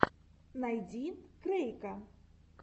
найди крэйка